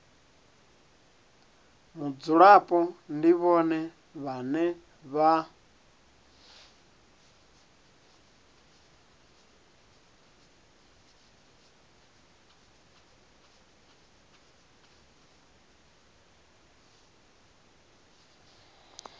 mudzulapo ndi vhone vhane vha